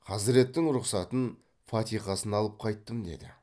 хазіреттің рұқсатын фатиқасын алып қайттым деді